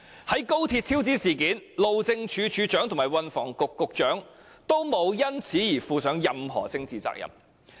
在高鐵超支事件中，路政署署長和運輸及房屋局局長均無須就事件負上任何政治責任。